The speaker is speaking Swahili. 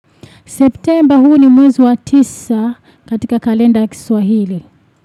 Septemba huu ni mwezi wa tisa katika kalenda ya kiswahili.